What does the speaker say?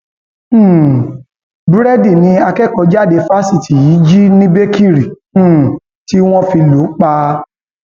um búrẹdì ni akẹkọọjáde fásitì yìí jí ní bèkiri um tí wọn fi lù ú pa